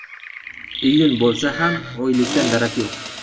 Iyun bo‘lsa ham oylikdan darak yo‘q.